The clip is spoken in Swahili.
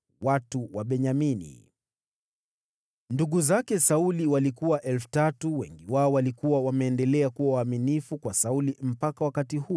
Watu wa Benyamini, ndugu zake Sauli, walikuwa 3,000; wengi wao walikuwa wameendelea kuwa waaminifu kwa Sauli mpaka wakati huo.